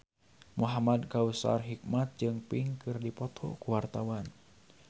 Muhamad Kautsar Hikmat jeung Pink keur dipoto ku wartawan